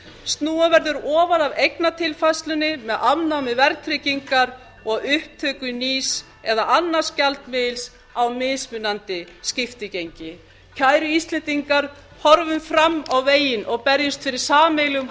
snúa verður ofan af eignatilfærslunni með afnámi verðtryggingar og upptöku nýs eða annars gjaldmiðils á mismunandi skiptigengi kæru íslendingar horfum fram á veginn og berjumst fyrir sameiginlegum